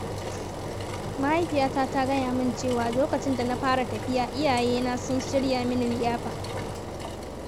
Mahaifiyata ta gaya min cewa lokacin da na fara tafiya, iyayena sun shirya mini liyafa\.